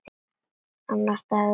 Annar dagur jóla.